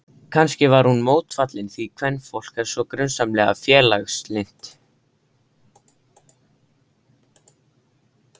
Kannski var hún mótfallin því, kvenfólk er svo grunsamlega félagslynt.